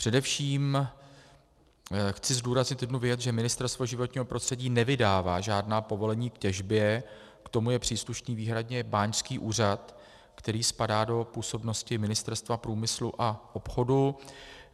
Především chci zdůraznit jednu věc, že Ministerstvo životního prostředí nevydává žádná povolení k těžbě, k tomu je příslušný výhradně báňský úřad, který spadá do působnosti Ministerstva průmyslu a obchodu.